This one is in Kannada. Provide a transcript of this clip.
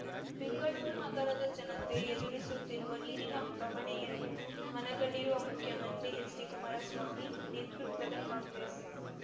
ಬೆಂಗಳೂರು ನಗರದ ಜನತೆ ಎದುರಿಸುತ್ತಿರುವ ನೀರಿನ ಬವಣೆಯನ್ನು ಮನಗಂಡಿರುವ ಮುಖ್ಯಮಂತ್ರಿ ಹೆಚ್ಡಿಕುಮಾರ ಸ್ವಾಮಿ ನೇತೃತ್ವದ ಕಾಂಗ್ರೆಸ್